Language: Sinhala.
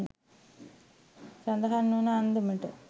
සඳහන් වන අන්දමට